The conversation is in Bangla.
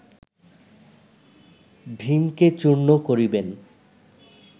ভীমকে চূর্ণ করিবেন